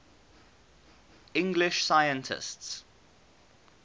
english scientists